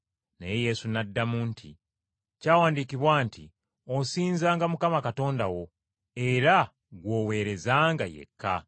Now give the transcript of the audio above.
Naye Yesu n’addamu nti, “Kyawandiikibwa nti, ‘Osinzanga Mukama Katonda wo, era gw’oweerezanga yekka.’ ”